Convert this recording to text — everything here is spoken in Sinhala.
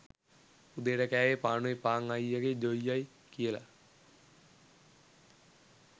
උදේට කෑවේ පානුයි පාන් අයියගේ ජොයියයි කියලා